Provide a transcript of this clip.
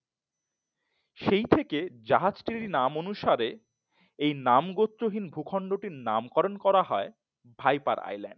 সেই থেকে জাহাজটির নাম অনুসারে এই নাম গোত্রহীন ভূখণ্ডটির নাম করণ করা হয় ভাইপার Island